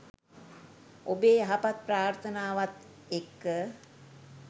ඔබේ යහපත් ප්‍රාර්ථනාවත් එක්ක